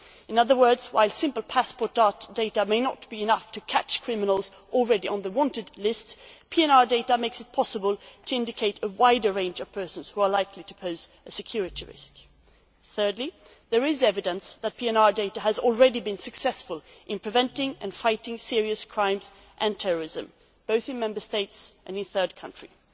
In other words, while simple passport data may not be enough to catch criminals already on the wanted list, PNR data makes it possible to identify a wider range of persons who are likely to pose a security risk. Thirdly, there is evidence that PNR data has already been successful in preventing and fighting serious crimes and terrorism, both in Member States and in third countries.